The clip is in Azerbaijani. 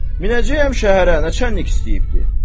Minəcəyəm şəhərə, neçəlik istəyibdi?